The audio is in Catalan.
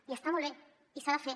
i està molt bé i s’ha de fer